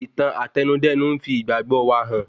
Ìtàn Àtẹnudẹ́nu n fi ìgbàgbọ wa hàn